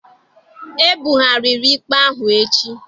E bugharịrị ikpe ahụ echi.